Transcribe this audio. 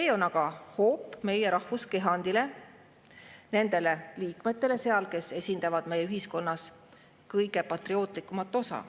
See on aga hoop meie rahvuskehandile, nendele liikmetele seal, kes esindavad meie ühiskonna kõige patriootlikumat osa.